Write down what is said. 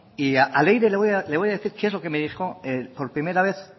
a leire le voy a decir qué es lo que me dijo por primera vez